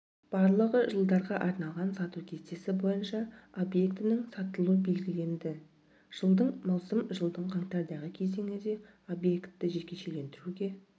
барлығы жылдарға арналған сату кестесі бойынша объектінің сатылуы белгіленді жылдың маусым жылдың қаңтардағы кезеңінде объекті жекешелендіруге